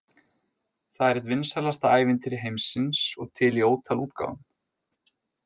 Það er eitt vinsælasta ævintýri heimsins og til í ótal útgáfum.